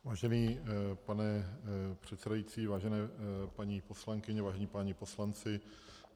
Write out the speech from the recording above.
Vážený pane předsedající, vážené paní poslankyně, vážení páni poslanci.